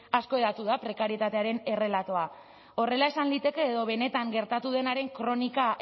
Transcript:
asko hedatu da prekarietatearen errelatoa horrela esan liteke edo benetan gertatu denaren kronika